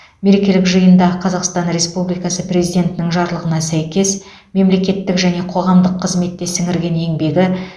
мерекелік жиында қазақстан республикасы президентінің жарлығына сәйкес мемлекеттік және қоғамдық қызметте сіңірген еңбегі